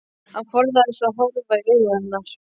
Hann forðast að horfa í augu hennar.